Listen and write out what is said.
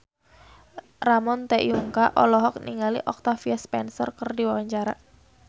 Ramon T. Yungka olohok ningali Octavia Spencer keur diwawancara